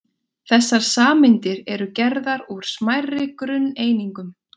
Þessar sameindir eru gerðar úr smærri grunneiningum.